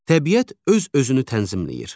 Təbiət öz-özünü tənzimləyir.